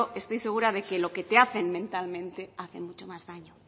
estoy segura de que lo que te hacen mentalmente hace mucho más daño